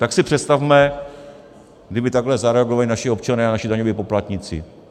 Tak si představme, kdyby takhle zareagovali naši občané a naši daňoví poplatníci.